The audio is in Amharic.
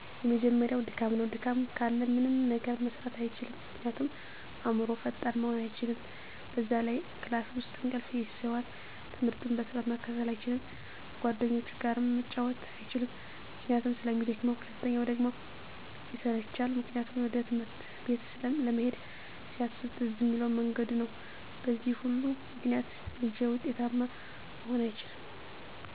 የመጀመሪያው ድካም ነው። ድካም ካለ ምንም ነገር መስራት አይችልም ምክንያቱም አዕምሮው ፈጣን መሆን አይችልም፣ በዛ ላይ ክላስ ውስጥ እንቅልፍ ይይዘዋል፣ ትምህርቱን በስርዓት መከታተል አይችልም፣ ከጓደኞቹ ጋርም መጫወት አይችልም ምክንያቱም ስለሚደክመው። ሁለተኛው ደግሞ ይሰላቻል ምክንያቱም ወደ ትምህርት ቤት ለመሄድ ሲያስብ ትዝ እሚለው መንገዱ ነው በዚህ ሁሉ ምክንያት ልጁ ውጤታማ መሆን አይችልም